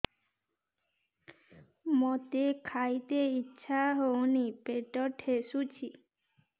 ମୋତେ ଖାଇତେ ଇଚ୍ଛା ହଉନି ପେଟ ଠେସୁଛି